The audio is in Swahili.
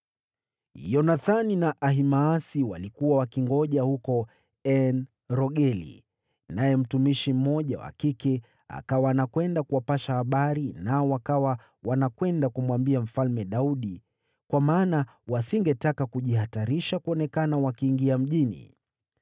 Yonathani na Ahimaasi walikuwa wakingoja huko En-Rogeli, naye mtumishi mmoja wa kike akawa anakwenda kuwapasha habari nao wakawa wanakwenda kumwambia Mfalme Daudi, kwa maana wasingetaka kujihatarisha kuonekana wakiingia mjini.